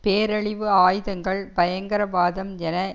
பேரழிவு ஆயுதங்கள் பயங்கரவாதம் என